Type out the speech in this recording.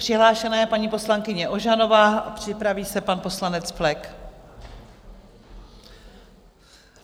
Přihlášena je paní poslankyně Ožanová, připraví se pan poslanec Flek.